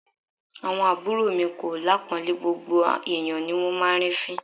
Àwọn àbúrò mi kò lápọ̀ńlé, gbogbo ẹ̀yán ni wón máa ń rí fín.